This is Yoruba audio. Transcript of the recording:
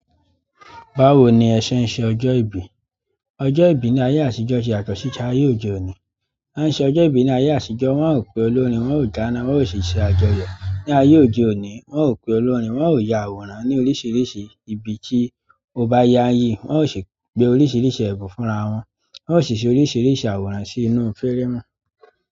Báwo ni ẹ̀ṣẹ̀ ń ṣe ọjọ́ ìbí? Ọjọ́ ìbí ní ayé àtijọ́ ṣe yàtọ̀ si ayé òde òní. A ṣe ọjọ́ ìbí ní ayé àtijọ́, wọn ò pe olórín, wọn ò dána, wọn ò ṣi iṣẹ́ àjọyọ̀. Ní ayé òde òní, wọn ò pe olórin, wọn ò ya àwòrán ní oríṣiríṣi ibi tí ó bá ya yi, wọn ó sì gbé oríṣiríṣi ẹ̀bùn fúnra wọn, wọn ó sì ṣe oríṣiríṣi àwòrán sí inú fẹ́rẹ́ mú.